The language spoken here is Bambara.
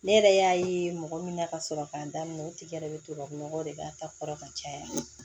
Ne yɛrɛ y'a ye mɔgɔ min na ka sɔrɔ k'a daminɛ o tigi yɛrɛ bɛ tubabunɔgɔ de k'a ta kɔrɔ ka caya